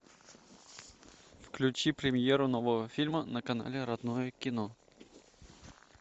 включи премьеру нового фильма на канале родное кино